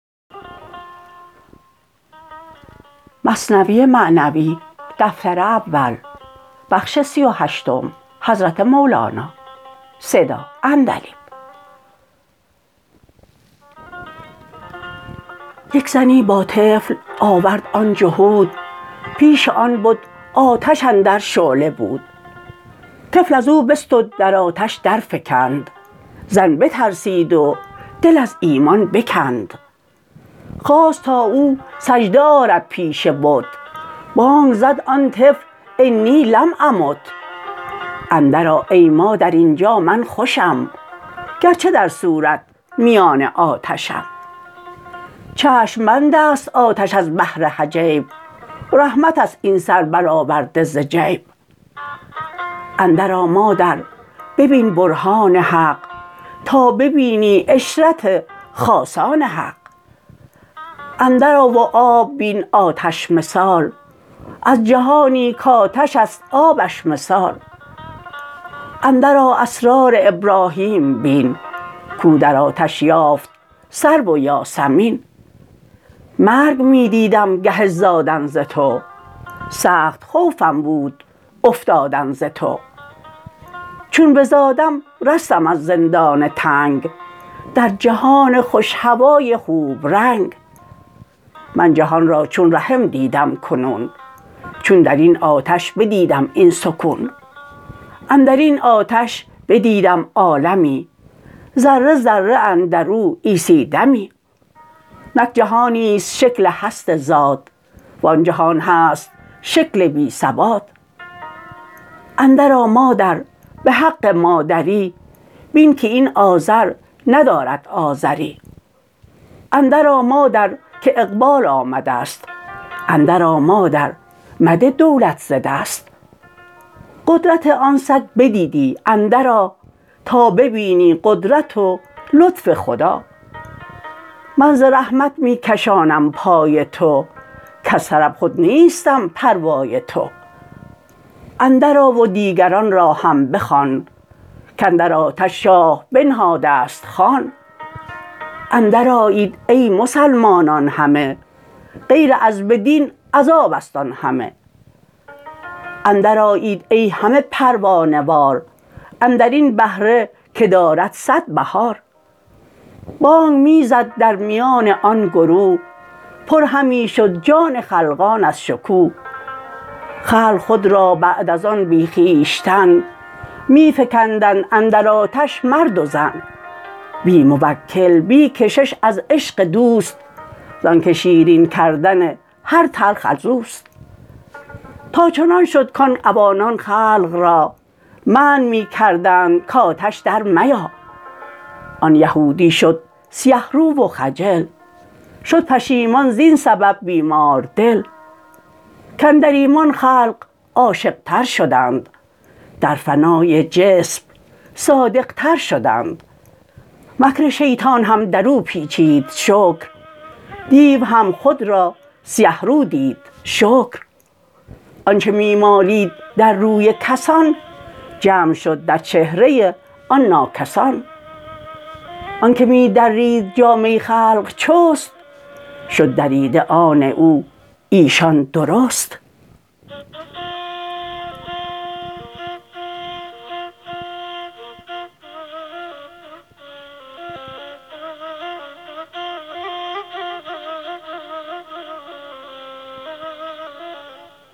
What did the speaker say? یک زنی با طفل آورد آن جهود پیش آن بت آتش اندر شعله بود طفل ازو بستد در آتش در فکند زن بترسید و دل از ایمان بکند خواست تا او سجده آرد پیش بت بانگ زد آن طفل إني لم أمت اندر آ ای مادر اینجا من خوشم گرچه در صورت میان آتشم چشم بندست آتش از بهر حجاب رحمتست این سر برآورده ز جیب اندر آ مادر ببین برهان حق تا ببینی عشرت خاصان حق اندر آ و آب بین آتش مثال از جهانی کآتش است آبش مثال اندر آ اسرار ابراهیم بین کو در آتش یافت سرو و یاسمین مرگ می دیدم گه زادن ز تو سخت خوفم بود افتادن ز تو چون بزادم رستم از زندان تنگ در جهان خوش هوای خوب رنگ من جهان را چون رحم دیدم کنون چون درین آتش بدیدم این سکون اندرین آتش بدیدم عالمی ذره ذره اندرو عیسی دمی نک جهان نیست شکل هست ذات و آن جهان هست شکل بی ثبات اندر آ مادر بحق مادری بین که این آذر ندارد آذری اندر آ مادر که اقبال آمدست اندر آ مادر مده دولت ز دست قدرت آن سگ بدیدی اندر آ تا ببینی قدرت و لطف خدا من ز رحمت می کشانم پای تو کز طرب خود نیستم پروای تو اندر آ و دیگران را هم بخوان کاندر آتش شاه بنهادست خوان اندر آیید ای مسلمانان همه غیر عذب دین عذابست آن همه اندر آیید ای همه پروانه وار اندرین بهره که دارد صد بهار بانگ می زد درمیان آن گروه پر همی شد جان خلقان از شکوه خلق خود را بعد از آن بی خویشتن می فکندند اندر آتش مرد و زن بی موکل بی کشش از عشق دوست زانک شیرین کردن هر تلخ ازوست تا چنان شد کان عوانان خلق را منع می کردند کآتش در میا آن یهودی شد سیه رو و خجل شد پشیمان زین سبب بیماردل کاندر ایمان خلق عاشق تر شدند در فنای جسم صادق تر شدند مکر شیطان هم درو پیچید شکر دیو هم خود را سیه رو دید شکر آنچ می مالید در روی کسان جمع شد در چهره آن ناکس آن آنک می درید جامه خلق چست شد دریده آن او ایشان درست